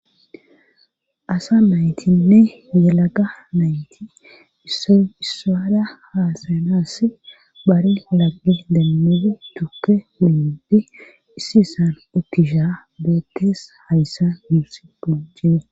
Asa maytinne yelaga mayti isso issaada haasanas bari halage demmudi tukke hunyipdi issi isan okkisha beekkees hayssa muusiqu jene